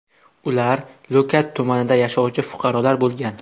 Ular Lo‘kat tumanida yashovchi fuqarolar bo‘lgan.